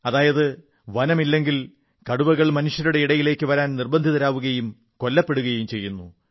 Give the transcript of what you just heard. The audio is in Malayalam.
അതായത് വനമില്ലെങ്കിൽ കടുവകൾ മനുഷ്യരുടെ ഇടയിലേക്ക് വരാൻ നിർബന്ധിതരാവുകയും കൊല്ലപ്പെടുകയും ചെയ്യുന്നു